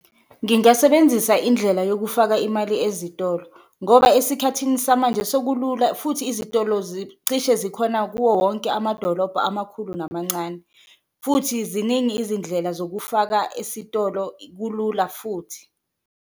Ngingasebenzisa indlela yokufaka imali ezitolo ngoba esikhathini samanje sekulula futhi izitolo cishe zikhona kuwo wonke amadolobha amakhulu namancane, futhi ziningi izindlela zokufaka esitolo kulula futhi.